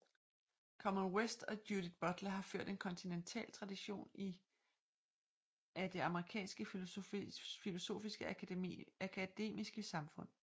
Cornel West og Judith Butler har ført en kontinental tradition i af det amerikanske filosofiske akademiske samfund